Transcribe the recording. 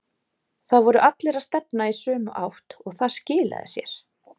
Það voru allir að stefna í sömu átt og það skilaði sér.